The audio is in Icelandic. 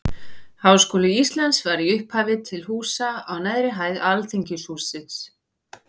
Háskóli Íslands var í upphafi til húsa á neðri hæð Alþingishússins.